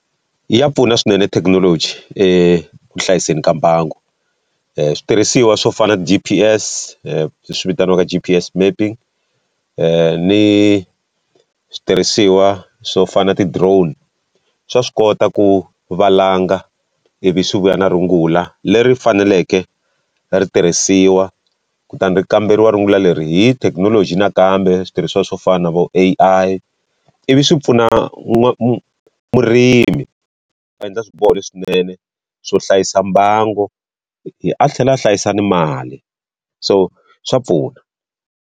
Ya pfuna swinene thekinoloji ku hlayiseni ka mbangu. switirhisiwa swo fana G_P_S leswi vitaniwaka G_P_S mapping, ni switirhisiwa swo fana na ti-drone swa swi kota ku valanga ivi swi vuya na rungula leri faneleke ri tirhisiwa. Kutani ri kamberiwa rungula leri hi thekinoloji nakambe switirhisiwa swo fana vo A_I ivi swi pfuna murimi, a endla swiboho leswinene swo hlayisa mbangu a tlhela a hlayisa na mali. So swa pfuna.